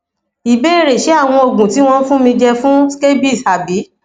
ìbéèrè ṣé àwọn oògùn tí wọn fún mi je fun scabies abi